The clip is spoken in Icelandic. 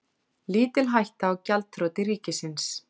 Lítil hætta á gjaldþroti ríkisins